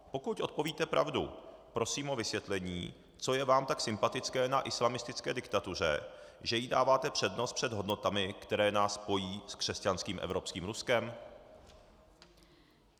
Pokud odpovíte pravdu, prosím o vysvětlení, co je vám tak sympatické na islamistické diktatuře, že jí dáváte přednost před hodnotami, které nás pojí s křesťanským evropským Ruskem.